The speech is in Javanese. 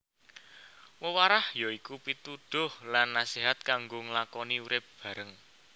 Wewarah ya iku pituduh lan naséhat kanggo nglakoni urip bareng